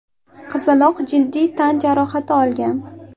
Qizaloq jiddiy tan jarohati olgan.